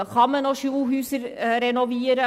Kann man noch Schulhäuser renovieren?